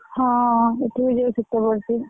ହଁ, ଏଠେଇ ବି ଶୀତ ବଢୁଛି।